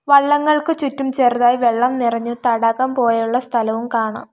വള്ളങ്ങൾക്ക് ചുറ്റും ചെറുതായി വെള്ളം നിറഞ്ഞ് തടാകം പോലെയുള്ള സ്ഥലവും കാണാം.